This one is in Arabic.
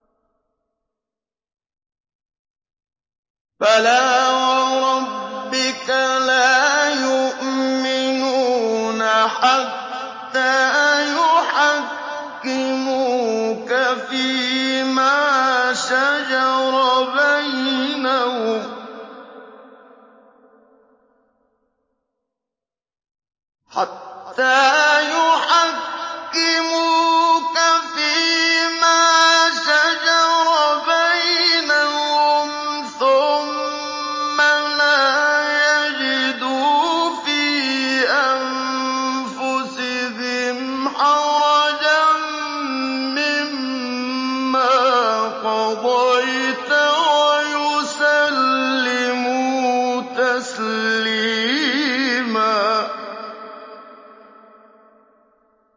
فَلَا وَرَبِّكَ لَا يُؤْمِنُونَ حَتَّىٰ يُحَكِّمُوكَ فِيمَا شَجَرَ بَيْنَهُمْ ثُمَّ لَا يَجِدُوا فِي أَنفُسِهِمْ حَرَجًا مِّمَّا قَضَيْتَ وَيُسَلِّمُوا تَسْلِيمًا